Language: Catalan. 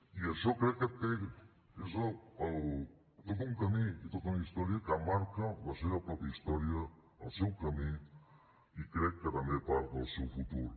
i això crec que és tot un camí i tota una història que marca la seva pròpia història el seu camí i crec que també part del seu futur